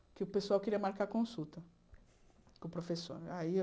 Porque o pessoal queria marcar consulta com o professor. Aí eu